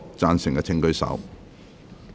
贊成的請舉手。